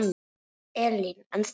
Elín: En þú?